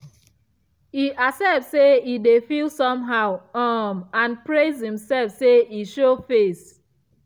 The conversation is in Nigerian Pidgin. e accept say e dey feel somehow um and praise himself say e show face.